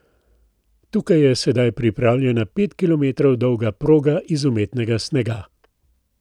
Tukaj je sedaj pripravljena pet kilometrov dolga proga iz umetnega snega.